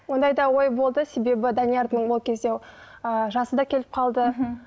ондай да ой болды себебі даниярдың ол кезде ы жасы да келіп қалды мхм